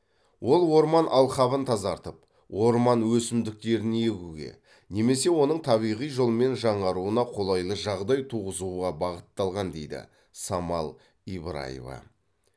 ол орман алқабын тазартып орман өсімдіктерін егуге немесе оның табиғи жолмен жаңаруына қолайлы жағдай туғызуға бағытталған дейді самал ибраева